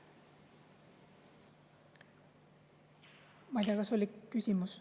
Ma ei tea, kas see oli küsimus.